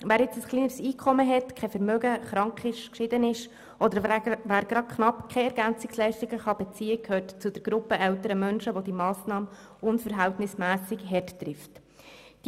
Wer ein kleineres Einkommen hat, über kein Vermögen verfügt, krank oder geschieden ist oder wer knapp keinen Anspruch auf EL hat, gehört zur Gruppe älterer Menschen, die von dieser Massnahme unverhältnismässig hart getroffen werden.